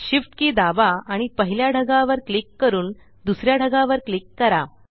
shift के दाबा आणि पहिल्या ढगावर क्लिक करून दुसऱ्या ढगावर क्लिक करा